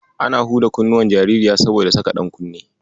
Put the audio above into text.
Ana huda kunnuwan jaririya saboda saka ɗankunne.